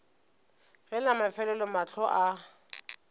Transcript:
ge la mafelelo mahlo a